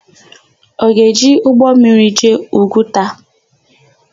Ọ ga-eji ụgbọmmiri jee Ugwuta?